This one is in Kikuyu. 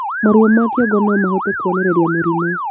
Maruo ma kĩongo nomahote kuonererĩa mũrimũ